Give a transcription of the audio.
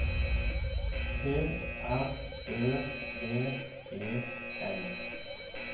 P R Ø V E N